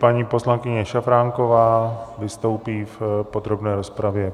Paní poslankyně Šafránková vystoupí v podrobné rozpravě.